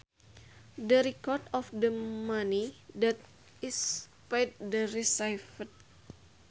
The records of the money that is paid or received